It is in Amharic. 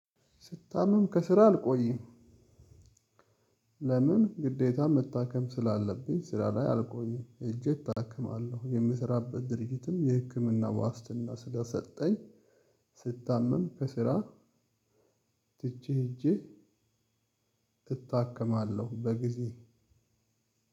ስታምም ከስራ አልቆይም። ለምን ግዴታ መታከም ስላለብኝ። ስራ ላይ አልቆይም ሂጄ እታክማለሁ። የምሰራበት ድርጅትም የህክምና ዋስትና ስለሰጠኝ። ስታመም ከስራ ትቼ ሄጄ እታከማለሁ። በጊዜ